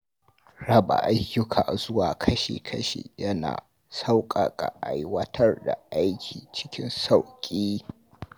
Raba ayyuka zuwa kashi-kashi yana sauƙaƙa aiwatar da aiki cikin sauƙi.